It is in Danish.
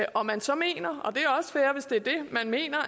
og man så mener